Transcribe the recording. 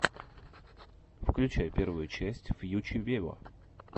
включай первую часть фьюче вево